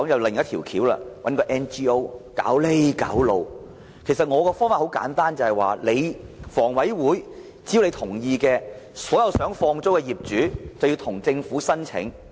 其實，我建議的方法很簡單，只要香港房屋委員會同意，所有想放租的業主可以向政府申請。